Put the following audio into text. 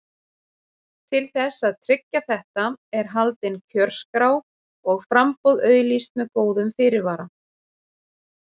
Til þess að tryggja þetta er haldin kjörskrá og framboð auglýst með góðum fyrirvara.